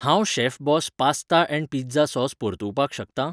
हांव chef boss pasta and pizza sauce परतुवपाक शकतां?